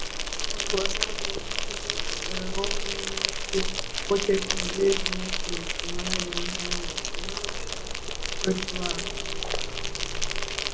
в глаза бросились ээ ровные мелким почерком выведенные строчки моя дорогая жёнушка прочла